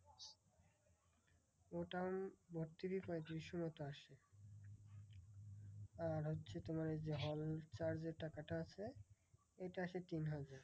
Total ভর্তি fee পঁয়তিরিশশো মতো আসে। আর হচ্ছে তোমার ওই যে hall charge এর টাকাটা আছে এটা আসে তিন হাজার।